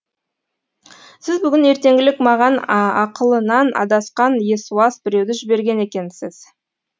сіз бүгін ертеңгілік маған ақылынан адасқан есуас біреуді жіберген екенсіз